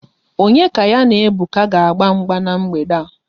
Onye ka ya na Ebuka ga-agba mgba n'mgbede a?